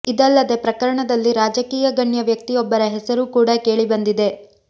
ಇದಲ್ಲದೆ ಪ್ರಕರಣದಲ್ಲಿ ರಾಜಕೀಯ ಗಣ್ಯ ವ್ಯಕ್ತಿಯೊಬ್ಬರ ಹೆಸರೂ ಕೂಡ ಕೇಳಿ ಬಂದಿದೆ